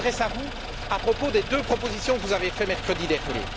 Je m'adresse à vous à propos des deux propositions que vous avez faites mercredi dernier.